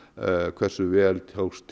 hversu vel tókst